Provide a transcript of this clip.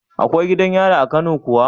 Akwai gidan yari a kano kuwa